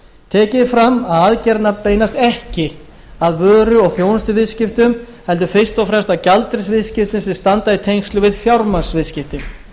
tekið er fram að aðgerðirnar beinast ekki að vöru og þjónustuviðskiptum heldur fyrst og fremst að gjaldeyrisviðskiptum sem standa í tengslum við fjármagnsviðskipti